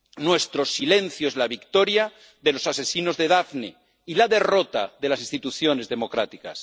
Nuestro silencio es la victoria de los asesinos de Daphne y la derrota de las instituciones democráticas.